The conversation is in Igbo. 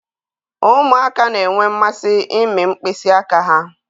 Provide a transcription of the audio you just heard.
Ụmụaka na-enwe mmasị ịmị mkpịsị aka ha.